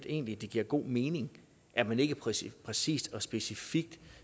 egentlig det giver god mening at man ikke præcist præcist og specifikt